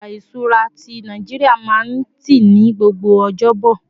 ọja ìṣura ti Naijiria ma n ti ní gbogbo ọjọbo